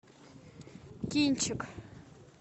кинчик